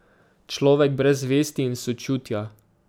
Človek brez vesti in sočutja.